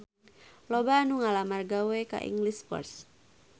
Loba anu ngalamar gawe ka English First